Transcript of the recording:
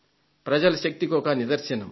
ప్రజల శక్తికి ఒక నిదర్శనం